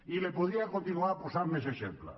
i li’n podria continuar posant més exemples